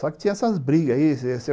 Só que tinha essas brigas aí